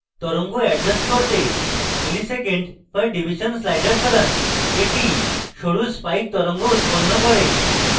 তরঙ্গ adjust করতে msec/div slider সরান একটি সরু spikes তরঙ্গ উৎপন্ন হয়